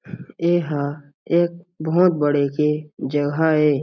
ए ह एक बहुत बड़े के जगह हे।